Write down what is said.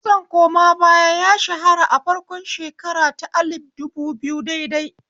Kitson koma baya ya shahara a farkon shekara ta alif dubu biyu daidai